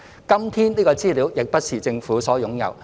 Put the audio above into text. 今天，這資料亦不是政府所擁有。